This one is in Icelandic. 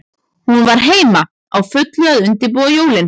Hún var heima, á fullu að undirbúa jólin.